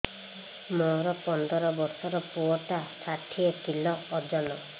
ମୋର ପନ୍ଦର ଵର୍ଷର ପୁଅ ଟା ଷାଠିଏ କିଲୋ ଅଜନ